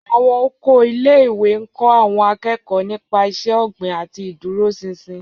Àwọn oko ilé-ìwé ń kọ́ àwọn akẹ́kọ̀ọ́ nípa iṣẹ́ ọ̀gbìn àti ìdúróṣinṣin.